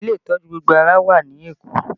Bẹẹ ni, ilé ìtọ́jú gbogbo ara wà ní Èkó